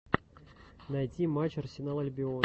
найти матч арсенал альбион